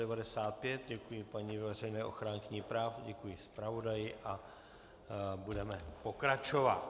Děkuji paní veřejné ochránkyni práv, děkuji zpravodaji a budeme pokračovat.